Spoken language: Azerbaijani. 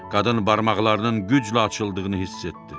Qadın barmaqlarının güclə açıldığını hiss etdi.